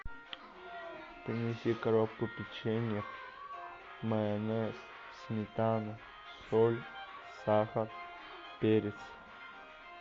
принеси коробку печенья майонез сметану соль сахар перец